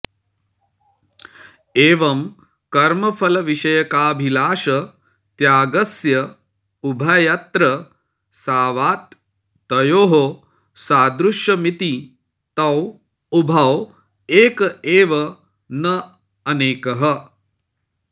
एवं कर्मफलविषयकाभिलाषत्यागस्य उभयत्र सावात् तयोः सादृश्यमिति तौ उभौ एक एव न अनेकः